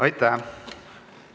Aitäh!